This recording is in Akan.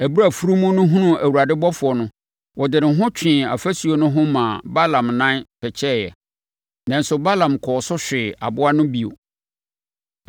Ɛberɛ a afunumu no hunuu Awurade ɔbɔfoɔ no, ɔde ne ho twee ɔfasuo no ho maa Balaam nan pɛkyɛeɛ. Nanso, Balaam kɔɔ so hwee aboa no bio.